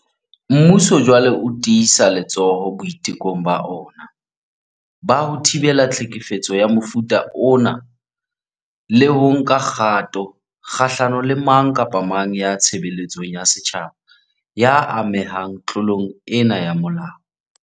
Mmuso jwale o tiisa letsoho boitekong ba ona ba ho thibela tlhekefetso ya mofuta ona le ho nka kgato kgahlano le mang kapa mang ya tshebeletsong ya setjhaba ya amehang tlo long ena ya molao.